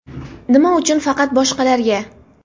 Nima uchun faqat boshqalarga?